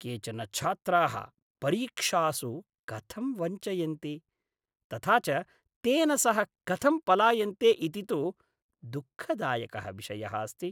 केचन छात्राः परीक्षासु कथं वञ्चयन्ति तथा च तेन सह कथं पलायन्ते इति तु दुःखदायकः विषयः अस्ति।